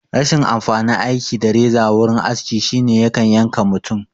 Rashin amfanin aiki da reza wurin aski shine yakan yanka mutum